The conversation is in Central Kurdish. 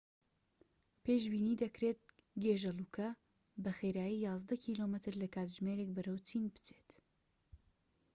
پێشبینی دەکرێت گێژەلووکە بە خێرایی یازدە کیلۆمەتر لە کاتژمێرێک بەرەو چین بچێت